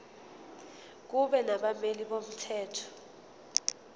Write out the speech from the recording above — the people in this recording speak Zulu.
kube nabameli bomthetho